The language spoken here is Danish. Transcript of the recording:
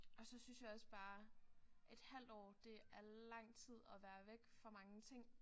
Og så synes jeg også bare et halvt år det er lang tid at være væk fra mange ting